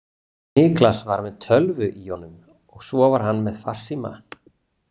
Niklas var með tölvu í honum og svo var hann með farsíma.